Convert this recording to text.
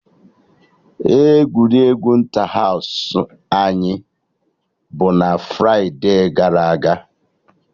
Egwuregwu Ịntahaụsụ anyị bụ na fride gara aga